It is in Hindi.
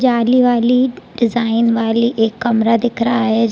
जाली वाली डिज़ाइन वाली एक कमरा दिख रहा है।